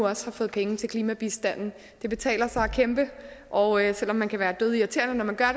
også har fået penge til klimabistanden det betaler sig at kæmpe og selv om man kan være dødirriterende når man gør